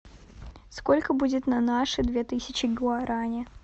сколько будет на наши две тысячи гуарани